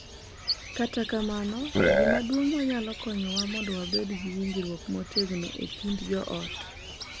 Kata kamano, gima duong’ ma nyalo konyowa mondo wabed gi winjruok motegno e kind joot .